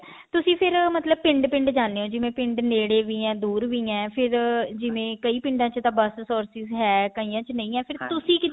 ਤੁਸੀਂ ਫ਼ੇਰ ਮਤਲਬ ਪਿੰਡ ਪਿੰਡ ਜਾਂਦੇ ਹੋ ਜਿਵੇਂ ਪਿੰਡ ਨੇੜੇ ਵੀ ਆ ਦੁਰ ਵੀ ਏ ਫ਼ੇਰ ਜਿਵੇਂ ਕਈ ਪਿੰਡਾਂ ਚ ਤਾਂ ਬੱਸ ਸੋ ਚੀਜ਼ ਹੈ ਕਈਆਂ ਨਹੀਂ ਹੈ ਫ਼ੇਰ ਤੁਸੀਂ